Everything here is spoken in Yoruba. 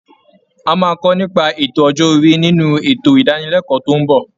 A máa kọ nípa ètò ọjọ́ orí nínú ètò ìdánilẹ́kọ̀ọ́ tó ń bọ̀